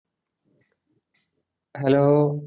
hello